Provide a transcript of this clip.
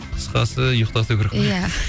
қысқасы ұйықтату керек қой ия